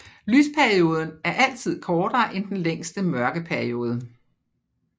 Lysperioden er altid kortere end den længste mørkeperiode